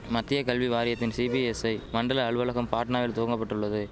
மத்திய கல்வி வாரியத்தின் சிபிஎஸ்ஐ மண்டல அலுவலகம் பாட்னாவில் துவங்கபட்டுள்ளது